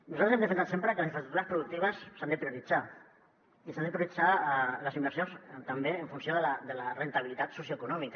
nosaltres hem defensat sempre que les infraestructures productives s’han de prioritzar i s’han de prioritzar les inversions també en funció de la rendibilitat socioeconòmica